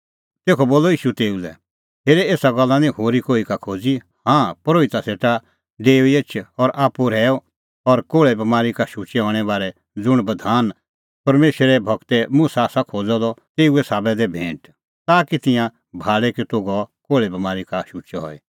तेखअ बोलअ ईशू तेऊ लै हेरे एसा गल्ला निं होरी कोही का खोज़ी हाँ परोहिता सेटा डेऊई एछ आप्पू रहैऊई और कोल़्हे बमारी का शुचै हणें बारै ज़ुंण बधान परमेशरे गूर मुसा आसा खोज़अ द तेऊ साबै दै भैंट ताकि तिंयां भाल़े कि तूह गअ कोल़्हे बमारी का शुचअ हई